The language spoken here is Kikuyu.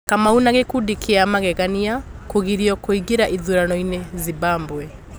kamau na ''Gĩkundi kĩa magegania'' Kũgirio Kũingĩra Ithurano-inĩ Zimbabwe